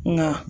Nka